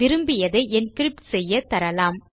விரும்பியதை என்கிரிப்ட் செய்யத் தரலாம்